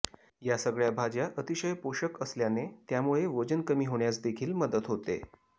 या सगळ्या भाज्या अतिशय पोषक असल्याने त्यामुळे वजन कमी होण्यास देखील मदत होते